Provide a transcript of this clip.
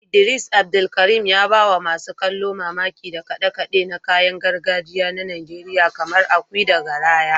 Idris Abdulkarim, ya ba wa masu kallo mamaki da kade-kade na kayan gargajiya na Najeriya kamar ekwe da garaya.